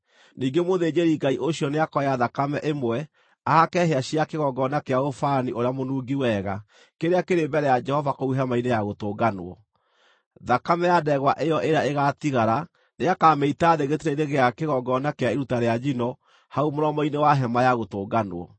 Ningĩ mũthĩnjĩri-Ngai ũcio nĩakoya thakame ĩmwe ahake hĩa cia kĩgongona kĩa ũbani ũrĩa mũnungi wega kĩrĩa kĩrĩ mbere ya Jehova kũu Hema-inĩ-ya-Gũtũnganwo. Thakame ya ndegwa ĩyo ĩrĩa ĩgaatigara nĩakamĩita thĩ gĩtina-inĩ gĩa kĩgongona kĩa iruta rĩa njino hau mũromo-inĩ wa Hema-ya-Gũtũnganwo.